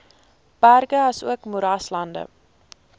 berge asook moeraslande